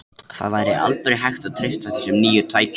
Það væri aldrei hægt að treysta þessum nýju tækjum.